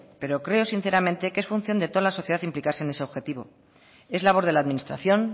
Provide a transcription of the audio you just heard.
pero creo sinceramente que es función de toda la sociedad implicarse en ese objetivo es labor de la administración